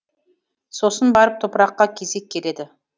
сосын барып топыраққа кезек келеді